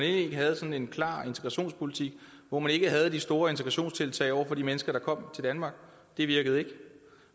ikke havde sådan en klar integrationspolitik og hvor man ikke havde de store integrationstiltag over for de mennesker der kom til danmark det virkede ikke